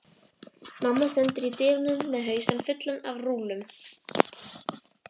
Mamma stendur í dyrunum með hausinn fullan af rúllum.